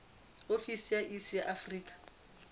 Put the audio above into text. ofisi ya iss ya afrika